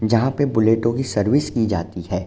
जहाँ पे बुलेटो कि सर्विस की जाती हैं।